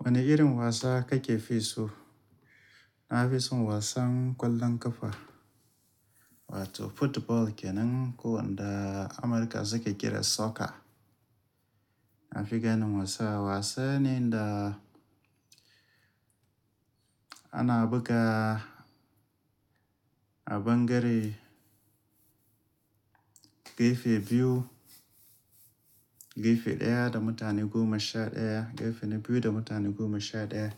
Wane irin wasa kake fi so? Na fi son wasan ƙwallon ƙafa wato football kenan ko wanda Amurka suke kira soccer. Na fi ganin wasa, wasa ne da ana buga a ban gare gefe biyu, gefe ɗaya da mutane goma sha ɗaya, gefe na biyu da mutane goma sha ɗaya.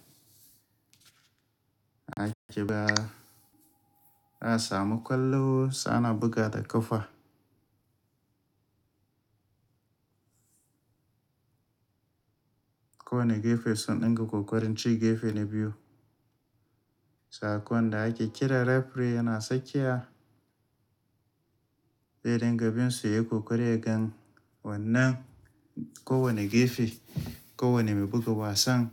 A ke ba, a samu ƙwallo sa ana buga ta ƙafa. Ko ne gefe sun ɗinga ƙoƙarin ci gefe na biyu. Sa ko da ake kira referee yana sakiya, dai dangabin su yi ƙoƙari a gan wannan ko wane gefe, ko wane mai buga wasan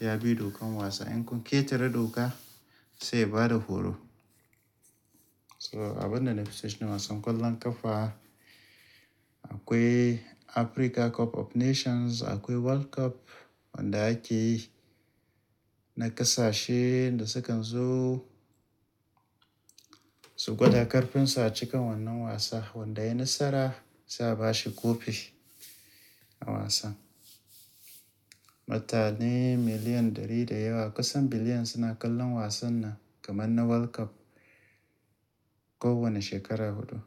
ya bi dokan wasa. In kun ƙetare doka sai bada horo. So a binda na fiso shine wasan ƙwallon ƙafa, akwai Africa Cup of Nations, akwai World Cup wanda ake na ƙasashe da sukan zo, su gwada ƙarfinsa a cikin wannan wasa. Wanda ya yi nasara sai ba shi kofi a wasan. Mutane miliyan ɗari da yawa kusan biliyan suna kallon wasan nan kamar na World Cup kowane shekara huɗu.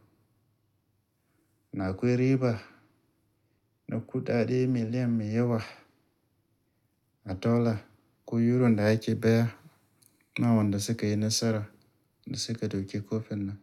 Na akwai riba na kuɗaɗe miliyan mai yawa a dala ko euro da ake baya na wanda suka yi nasara da suka ɗauki kofin nan.